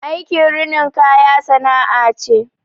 Aikin rinin kaya sana'a ce